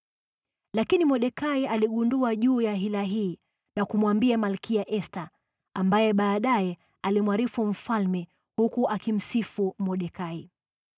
Lakini Mordekai aligundua hila hii na kumwambia Malkia Esta, ambaye baadaye alimwarifu mfalme, huku akimsifu Mordekai.